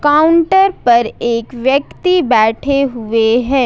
Counter पर एक व्यक्ति बैठे हुए है।